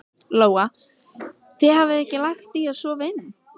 Lóa: Þið hafið ekki lagt í að sofa inni?